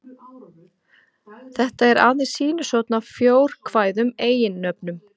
Þetta er aðeins sýnishorn af fjórkvæðum eiginnöfnum.